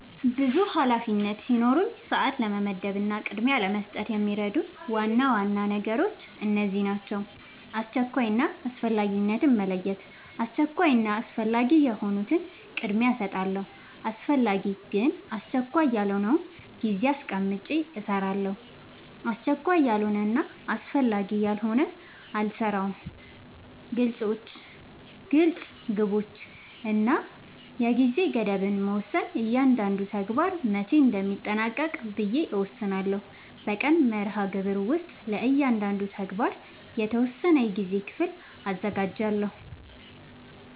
ብዙ ኃላፊነቶች ሲኖሩኝ ሰዓት ለመመደብ እና ቅድሚያ ለመስጠት የሚረዱኝ ዋና ዋና ነገሮች እነዚህ ናቸው :-# አስቸኳይ እና አስፈላጊነትን መለየት:- አስቸኳይ እና አስፈላጊ የሆኑትን ቅድሚያ እሰጣለሁ አስፈላጊ ግን አስቸካይ ያልሆነውን ጊዜ አስቀምጨ እሰራለሁ አስቸካይ ያልሆነና አስፈላጊ ያልሆነ አልሰራውም # ግልፅ ግቦች እና የጊዜ ገደብ መወሰን እያንዳንዱን ተግባር መቼ እንደሚጠናቀቅ ብዬ እወስናለሁ በቀን መርሃግብር ውስጥ ለእያንዳንዱ ተግባር የተወሰነ የጊዜ ክፍል አዘጋጃለሁ